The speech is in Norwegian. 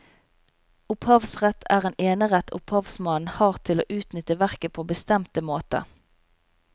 Opphavsrett er en enerett opphavsmannen har til å utnytte verket på bestemte måter.